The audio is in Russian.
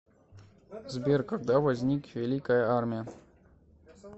сбер когда возник великая армия